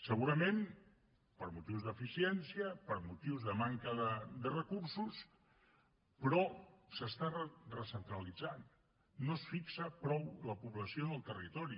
segurament per motius d’eficiència per motius de manca de recursos però s’està recentralitzant no es fixa prou la població en el territori